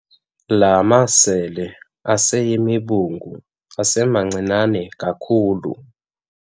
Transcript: La masele aseyimibungu asemancinane kakhulu.